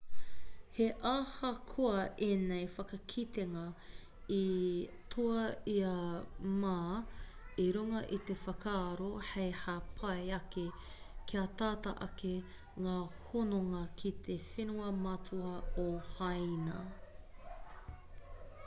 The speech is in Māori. he ahakoa ēnei whakakitenga i toa i a ma i runga i te whakaaro hei hāpai ake kia tata ake ngā hononga ki te whenua matua o hāina